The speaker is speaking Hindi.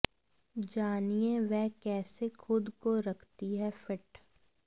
जानिए वह कैसे खुद को रखती है फिट